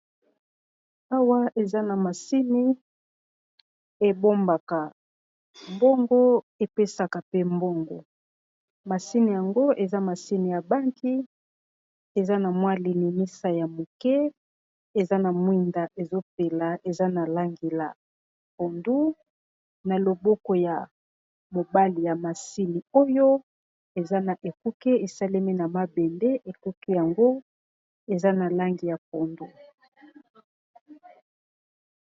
Awa eza na masini ebombaka mbongo epesaka pe mbongo masini yango eza masini ya banki eza na mwa lilimisa ya moke eza na mwinda ezopela eza na langi ya pondu na loboko ya mobali ya masini oyo eza na ekuki esalemi na mabende ekuki yango eza na langi ya pondu.